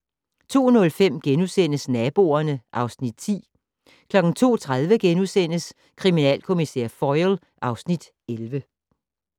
02:05: Naboerne (Afs. 10)* 02:30: Kriminalkommissær Foyle (Afs. 11)*